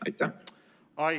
Aitäh!